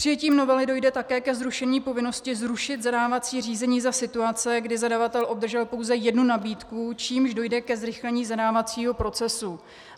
Přijetím novely dojde také ke zrušení povinnosti zrušit zadávací řízení za situace, kdy zadavatel obdržel pouze jednu nabídku, čímž dojde ke zrychlení zadávacího procesu.